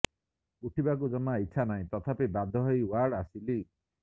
ଉଠିବାକୁ ଜମା ଇଛା ନାହିଁ ତଥାପି ବାଧ୍ୟ ହୋଇ ୱାର୍ଡ଼ ଆସିଲି